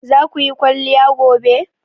Zaku yi kwaliya gobe?